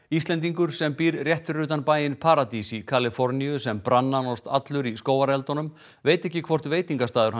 Íslendingur sem býr rétt fyrir utan bæinn paradís í Kaliforníu sem brann nánast allur í skógareldunum veit ekki hvort veitingastaður